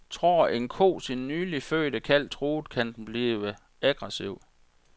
Tror en ko sin nylig fødte kalv truet, kan den blive aggressiv.